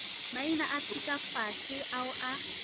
maina a thutafase ao a